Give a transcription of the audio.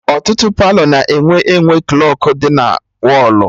Ọtụtụ Palọ na-enwe enwe klọkụ dị na wọlụ